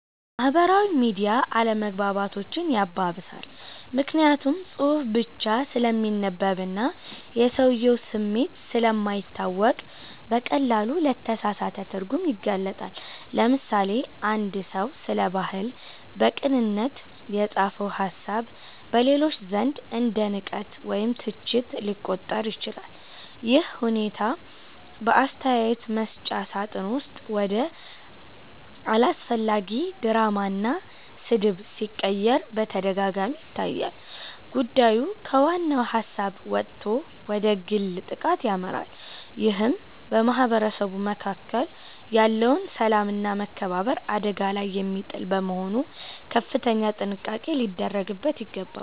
ማህበራዊ ሚዲያ አለመግባባቶችን ያባብሳል። ምክንያቱም ጽሁፍ ብቻ ስለሚነበብና የሰውየው ስሜት ስለማይታወቅ በቀላሉ ለተሳሳተ ትርጉም ይጋለጣል። ለምሳሌ፣ አንድ ሰው ስለ ባህል በቅንነት የጻፈው ሃሳብ በሌሎች ዘንድ እንደ ንቀት ወይም ትችት ሊቆጠር ይችላል። ይህ ሁኔታ በአስተያየት መስጫ ሳጥን ውስጥ ወደ አላስፈላጊ ድራማና ስድብ ሲቀየር በተደጋጋሚ ይታያል። ጉዳዩ ከዋናው ሃሳብ ወጥቶ ወደ ግል ጥቃት ያመራል ይህም በማህበረሰቡ መካከል ያለውን ሰላምና መከባበር አደጋ ላይ የሚጥል በመሆኑ ከፍተኛ ጥንቃቄ ሊደረግበት ይገባል።